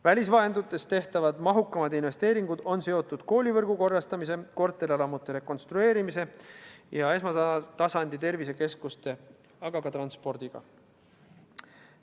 Välisvahenditest tehtavad mahukamad investeeringud on seotud koolivõrgu korrastamise, korterelamute rekonstrueerimise ja esmatasandi tervisekeskuste rajamisega, aga ka transpordiga.